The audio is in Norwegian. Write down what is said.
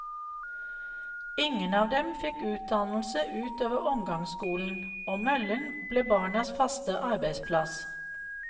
Ingen av dem fikk utdannelse ut over omgangsskolen, og møllen ble barnas faste arbeidsplass.